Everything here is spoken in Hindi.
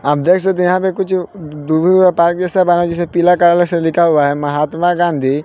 आप देख सकते है यहां पे कुछ हुए पार्क जैसा बना जिसमें पीला कलर से लिखा हुआ है महात्मा गांधी--